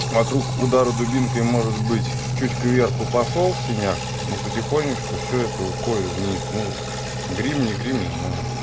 вокруг удара дубинкой может быть чуть к верху пошёл синяк но потихонечку всё это уходит вниз ну грим не грим не знаю